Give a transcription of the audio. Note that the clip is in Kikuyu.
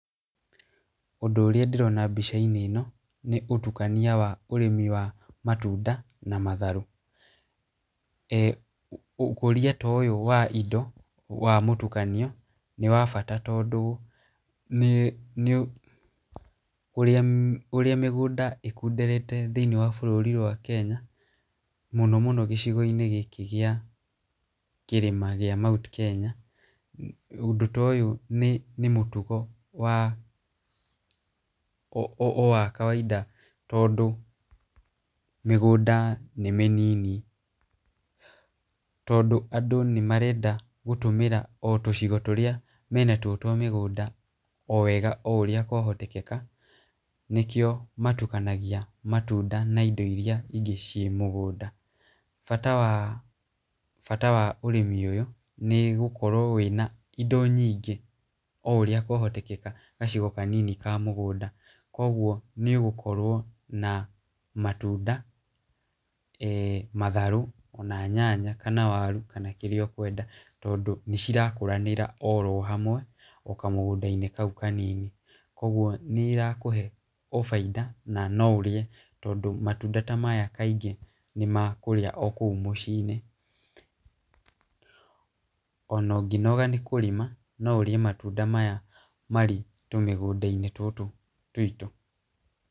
Ũndũ ũrĩa ndĩrona mbica-inĩ ĩno nĩ ũtukania wa ũrĩmi wa matunda na matharũ. Ũkũria ta ũyũ wa indo wa mũtukanio nĩ wa bata tondũ ũrĩa mĩgũnda ĩkunderete thĩinĩ wa bũrũri wa Kenya, mũno mũno gĩcigoinĩ gĩkĩ gĩa kĩrĩma gĩa Mt Kenya, ũndũ ta ũyũ nĩ mũtugo o wa kawaida tondũ mĩgũnda nĩ mĩnini. Tondũ andũ nĩmarenda gũtũmĩra o tũcigo tũrĩa mena tuo twa mĩgũnda o wega o ũrĩa kwahotekeka. Nĩkĩo matukanagia matunda na indo iria ingĩ ciĩ mũgũnda. Bata wa ũrĩmi ũyũ nĩ gũkorwo wĩna indo nyingĩ o ũrĩa kwahotekeka gacigo kanini kaa mũgũnda koguo nĩũgũkorwo na matunda matharũ ona nyanya kana waru kana kĩrĩa ũkwenda, tondũ nĩ cirakũranĩra oro hamwe o kamũgũndainĩ o kau kanini. Koguo nĩ irakũhe o baida na no ũrĩe, tondũ matunda ta maya kaingĩ nĩ ma kũrĩa o kũu mũcinĩ. Ona ũngĩnoga nĩ kũrĩma no ũrĩe matunda maya marĩ tũmĩgũndanĩ tũtũ twĩtũ.